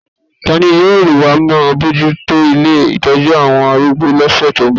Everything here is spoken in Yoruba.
Ta ni yóò máa bójú tó ilé ìtọ́jú àwọn arúgbó lọ́sẹ̀ tó ń bọ̀?